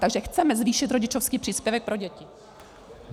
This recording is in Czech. Takže chceme zvýšit rodičovský příspěvek pro děti.